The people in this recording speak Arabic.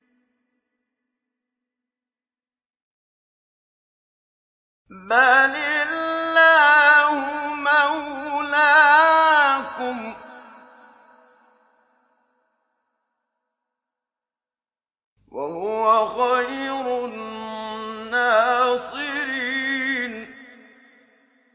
بَلِ اللَّهُ مَوْلَاكُمْ ۖ وَهُوَ خَيْرُ النَّاصِرِينَ